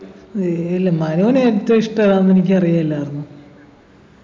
ഏ ഇല്ല മനുവിന് ഏറ്റവും ഇഷ്ടം ഏതാന്ന് എനിക്കറിയില്ലായിരുന്നു